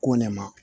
Ko ne ma